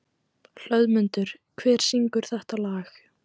Hlöðmundur, hver syngur þetta lag?